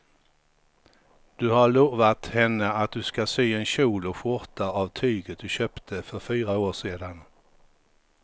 Du har lovat henne att du ska sy en kjol och skjorta av tyget du köpte för fyra år sedan.